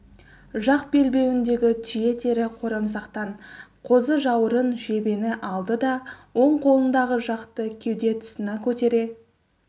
жақ белбеуіндегі түйе тері қорамсақтан қозыжаурын жебені алды да оң қолындағы жақты кеуде тұсына көтере